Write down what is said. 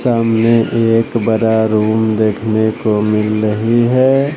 सामने एक बड़ा रूम देखने को मिल रही है।